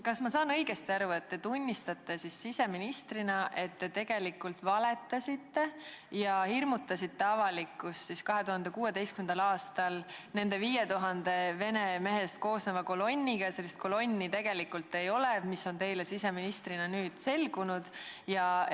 Kas ma saan õigesti aru, et te tunnistate siseministrina, et te tegelikult valetasite ja hirmutasite avalikkust 2016. aastal nendest 5000 vene mehest koosneva kolonniga ja tegelikult sellist kolonni ei ole, nagu teile siseministrina on nüüd selgunud?